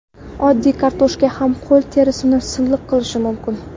Oddiy kartoshka ham qo‘l terisini silliq qilishi mumkin.